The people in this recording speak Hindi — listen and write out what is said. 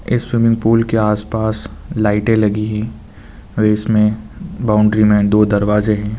इस स्विमिंग पुल के आसपास लाइटे लगी है इसमें बाउंड्री में दो दरवाजे है।